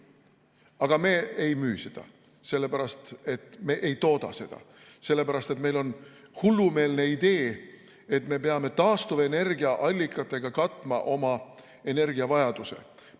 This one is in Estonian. Aga me ei müü seda sellepärast, et me ei tooda seda, sest meil on hullumeelne idee, et me peame taastuvenergiaallikatega oma energiavajaduse katma.